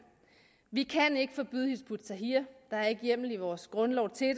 vi kan ikke forbyde hizb ut tahrir der er ikke hjemmel i vores grundlov til at